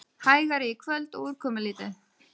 Hægari í kvöld og úrkomulítið